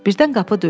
Birdən qapı döyüldü.